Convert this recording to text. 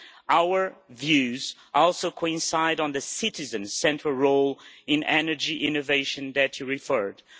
Our views also coincide on the citizen's central role in energy innovation that you referred to.